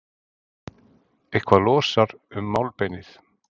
Eitthvað losar um málbeinið